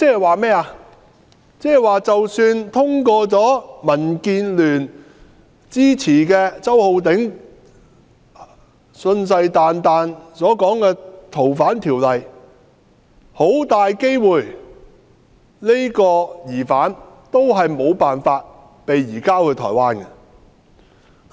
換言之，即使通過民建聯支持、周浩鼎議員信誓旦旦所說的《條例草案》，這個疑犯也很大機會無法被移交到台灣。